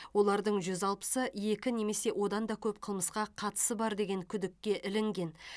олардың жүз алпысы екі немесе одан да көп қылмысқа қатысы бар деген күдікке ілінген